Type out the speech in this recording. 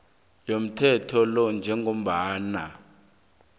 yomthetho lo njengombana